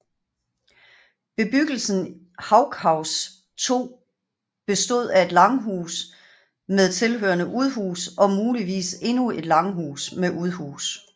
Bebyggelsen Haughus 2 bestod af et langhus med tilhørende udhus og muligvis endnu et langhus med udhus